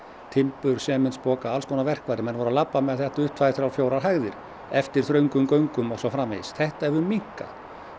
timbur alls konar verkfæri menn voru að labba með þetta upp tvær þrjár fjórar hæðir eftir þröngum göngum og svo framvegis þetta hefur minnkað